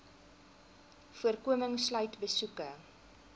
voorkoming sluit besoeke